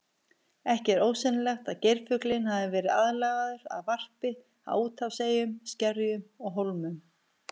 Ekki er ósennilegt að geirfuglinn hafi verið aðlagaður að varpi á úthafseyjum, skerjum og hólmum.